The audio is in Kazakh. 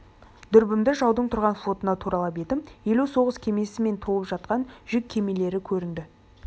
дүрбімді жаудың тұрған флотына туралап едім елу соғыс кемесі мен толып жатқан жүк кемелері көрінді